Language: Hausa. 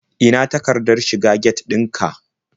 Ina takardar shiga get ɗin ka?